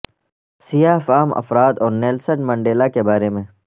سیاہ فام افراد اور نیلسن منڈیلا کے بارے میں